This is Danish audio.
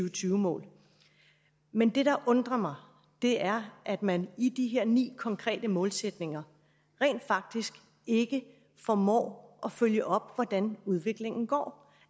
og tyve mål men det der undrer mig er at man i de her ni konkrete målsætninger rent faktisk ikke formår at følge op på hvordan udviklingen går